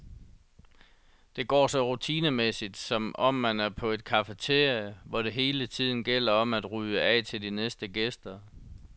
Det går så rutinemæssigt, som om man er på et cafeteria, hvor det hele tiden gælder om at rydde af til de næste gæster.